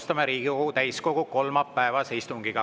Alustame Riigikogu täiskogu kolmapäevast istungit.